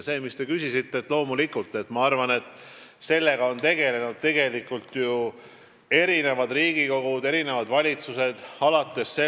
Sellega, mille kohta te küsisite, on tegelenud loomulikult Riigikogu eri koosseisud ja valitsused.